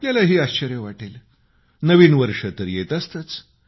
आपल्यालाही आश्चर्य वाटेल नवीन वर्ष तर येत असतंच